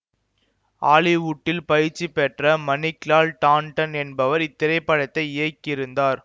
ஹாலிவுடில் பயிற்சி பெற்ற மணிக்லால் டாண்டன் என்பவர் இத்திரைப்படத்தை இயக்கியிருந்தார்